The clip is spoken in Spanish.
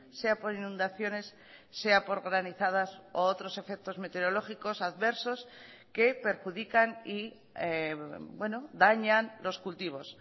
sea por inundaciones sea por granizadas u otros efectos meteorológicos adversos que perjudican y dañan los cultivos